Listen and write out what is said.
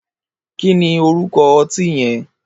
Kini órúkọ̀ ọtin yẹ̀n?